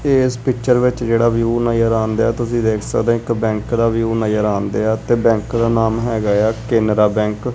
ਇਸ ਪਿਕਚਰ ਵਿੱਚ ਜਿਹੜਾ ਵਿਊ ਨਜ਼ਰ ਆਨ ਡਿਆ ਤੁਸੀਂ ਦੇਖ ਸਕਦੇ ਹੋ ਇੱਕ ਬੈਂਕ ਦਾ ਵਿਊ ਨਜ਼ਰ ਆਨ ਡਿਆ ਤੇ ਬੈਂਕ ਦਾ ਨਾਮ ਹੈਗਾ ਆ ਕੇਨਰਾ ਬੈਂਕ ।